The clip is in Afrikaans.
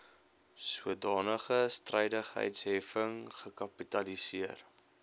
sodanige strydigheidsheffing gekapitaliseer